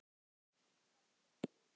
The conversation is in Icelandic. Gítar tríó